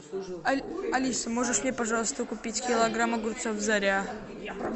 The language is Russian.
алиса можешь мне пожалуйста купить килограмм огурцов заря